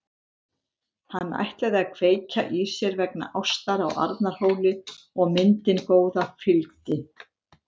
Hann ætlaði að kveikja í sér vegna ástar á Arnarhóli og myndin góða fylgdi.